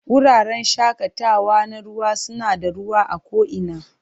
Wuraren shakatawa na ruwa suna da ruwa a ko'ina